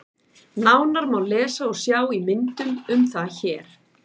Nánar má lesa og sjá í myndum um það hér.